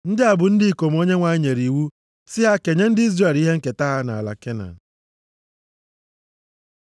Ndị a bụ ndị ikom Onyenwe anyị nyere iwu si ha kenye ndị Izrel ihe nketa ha nʼala Kenan.